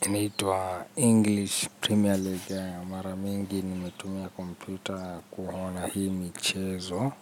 iniitua english premier legue mara mingi nimetumia komputer kuhona hi michezo.